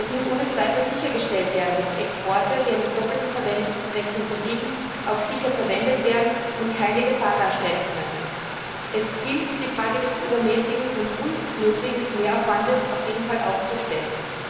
Es muss ohne Zweifel sichergestellt werden, dass Exporte, die einem doppelten Verwendungszweck unterliegen, auch sicher verwendet werden und keine Gefahr darstellen können. Es gilt, auf jeden Fall auch die Frage des übermäßigen und unnötigen Mehraufwands zu stellen.